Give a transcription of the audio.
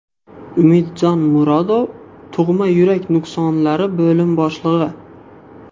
Umidjon Murodov, Tug‘ma yurak nuqsonlari bo‘lim boshlig‘i .